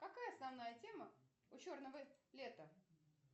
какая основная тема у черного лета